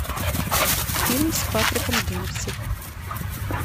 фильм с патриком демпси